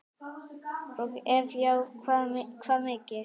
og ef já hvað mikið?